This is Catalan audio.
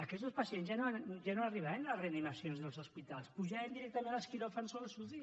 aquests pacients ja no arribaven a reanimacions dels hospitals pujaven directament als quiròfans o a les uci